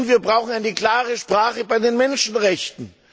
Und wir brauchen eine klare Sprache bei den Menschenrechten.